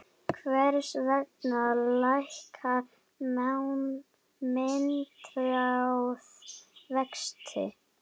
Hvers vegna lækkar myntráð vexti?